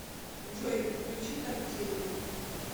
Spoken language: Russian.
джой включи тортиллу